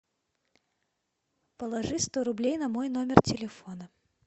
положи сто рублей на мой номер телефона